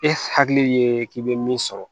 E hakili ye k'i bɛ min sɔrɔ